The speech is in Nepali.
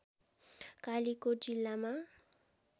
कालिकोट जिल्लामा